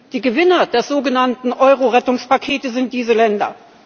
Die Gewinner der sogenannten Euro Rettungspakete sind diese Länder.